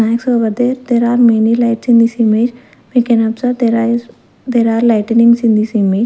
lights over there there are many lights in this image we can observe there are there are lightenings in this image.